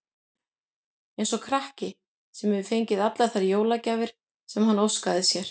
Eins og krakki, sem hefur fengið allar þær jólagjafir sem hann óskaði sér.